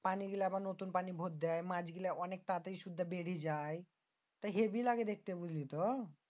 পানি গুলা আবার নতুন পানি বরদেয়। মাছ গুলা অনেক তাড়াতাড়ি শুদ্ধা বেরে যায়। হেব্বি লাগে দেখতে বুঝলিতো?